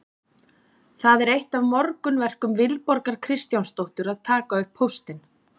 Það er eitt af morgunverkum Vilborgar Kristjánsdóttur að taka upp póstinn.